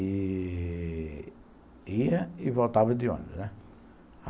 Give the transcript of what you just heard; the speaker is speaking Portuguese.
E... ia e voltava de ônibus, né?